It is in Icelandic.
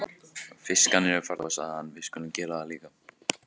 Fiskarnir eru farnir að sofa, sagði hann, við skulum gera það líka.